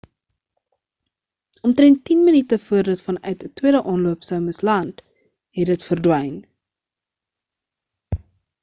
omtrend tien minute voor dit vanuit 'n tweede aanloop sou moes land het dit verdwyn